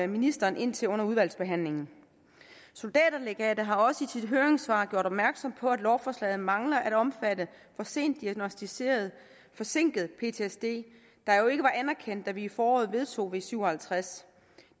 ministeren ind til under udvalgsbehandlingen soldaterlegatet har også i sit høringssvar gjort opmærksom på at lovforslaget mangler at omfatte diagnosticeret forsinket ptsd der jo ikke var anerkendt da vi i foråret vedtog v syv og halvtreds